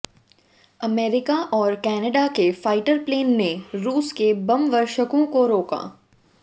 America और Canada के fighter plane ने रूस के बमवर्षकों को रोका